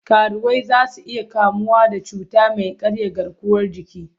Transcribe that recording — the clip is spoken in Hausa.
Karuwai za su iya kamuwa da cuta mai karya garkuwar jiki.